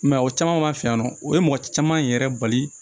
I m'a ye o caman b'a fɛ yan nɔ o ye mɔgɔ caman yɛrɛ bali